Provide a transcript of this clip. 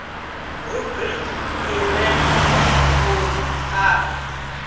rubriki i re magumoni a